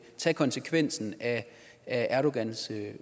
tage konsekvensen af erdogans